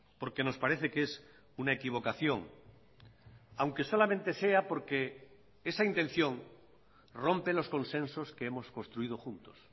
porque nos parece que es una equivocación aunque solamente sea porque esa intención rompe los consensos que hemos construido juntos